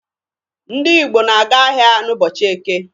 Ndị Igbo na-aga ahịa n'ụbọchị Eke.